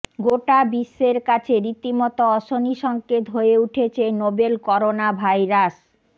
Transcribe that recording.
গোটা বিশ্বের কাছে রীতিমতো অশনি সঙ্কেত হয়ে উঠেছে নোবেল করোনা ভাইরাস